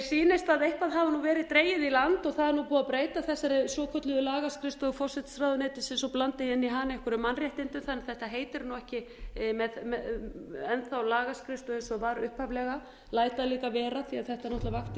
sýnist að eitthvað nú verið dregið í land það er nú búið að breyta þessari svokölluðu lagaskrifstofu forsætisráðuneytisins og blanda inn í hana einhverjum mannréttindum þannig að þetta betri nú ekki enn lagaskrifstofa eins og var upphaflega læt það líka vera því þetta vakti